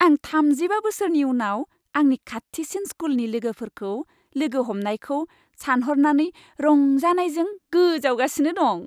आं थामजिबा बोसोरनि उनाव आंनि खाथिसिन स्कुलनि लोगोफोरखौ लोगो हमनायखौ सानहरनानै रंजानायजों गोजावगासिनो दं।